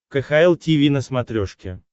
кхл тиви на смотрешке